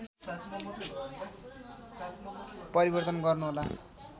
परिवर्तन गर्नुहोला